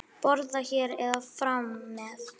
Borða hér eða fara með?